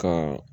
Ka